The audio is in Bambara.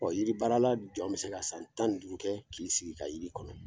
Ɔ jiri baarala jɔn bɛ se ka san tan ni duuru kɛ k'i sigi ka jiri kɔnɔ